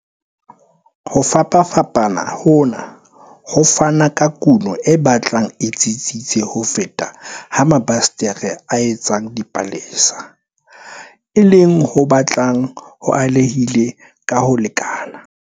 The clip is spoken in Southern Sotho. Ho fapafapana hona ho fana ka kuno e batlang e tsitsitse ho feta ha mabasetere a etsang dipalesa, e leng ho batlang ho alehile ka ho lekana.